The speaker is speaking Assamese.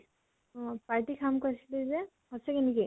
অʼ । party খাম কৈছিলি যে, সচাঁকৈ নেকি ?